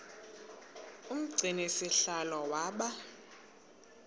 umgcini sihlalo waba